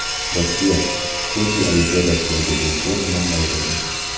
Rossiya Sochi Olimpiadasidagi birinchi o‘rindan ayrildi.